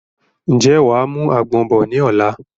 Ǹjẹ́ wàá mú àgbọ̀n bọ̀ ni ọ̀la?